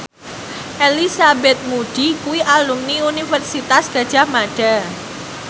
Elizabeth Moody kuwi alumni Universitas Gadjah Mada